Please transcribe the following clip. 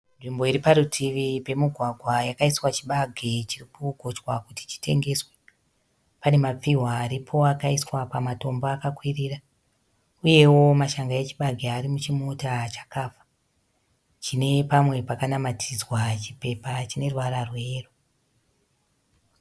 Nzvimbo iri parutivi pemugwagwa yakaiswa chibage chiri kugochwa kuti chitengeswe. Pane mapfihwa aripo akaiswa pamatombo akakwirira, uyewo mashanga echibage ari muchimota chakafa chine pamwe pakanamatidzwa chipepa chine ruvara rweyero.